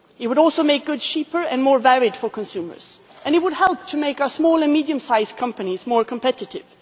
It would also make goods cheaper and more varied for consumers, and it would help to make our small and medium sized companies more competitive.